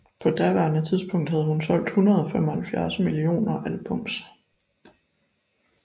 På daværende tidspunkt havde hun solgt 175 millioner albums